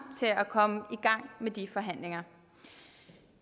til at komme i gang med de forhandlinger